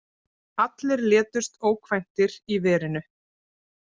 Allir létust ókvæntir í verinu.